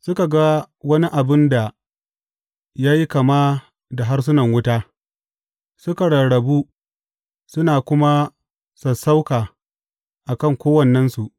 Suka ga wani abin da ya yi kama da harsunan wuta, suka rarrabu suna kuma sassauka a kan kowannensu.